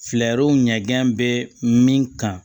Fɛɛrɛw ɲɛgɛn bɛ min kan